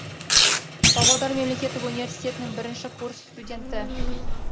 павлодар мемлекеттік университетінің бірінші курс студенті